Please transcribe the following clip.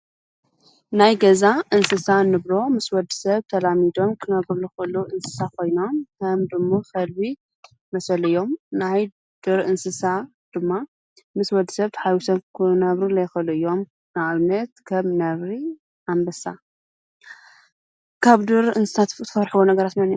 ናይ ገዛ እንስሳ ንብሎ ምስ ወድ ሰብ ተላሚዶም ክነብሩሉዂሉ እንስሳ ኾይና ከም ፣ድሙ ፣ኸልቢ ዝመሰለ እዮም ናይ ድር እንስሳ ድማ ምስ ወድ ሰብ ተኃዊሰብ ክነብሩ ዘይኸሉ እዮም። ንኣብነት ከም ነብሪ ፣ኣንበሳ ፣ካብ ድር እንስሳ ትፍርሕውመን እዩ?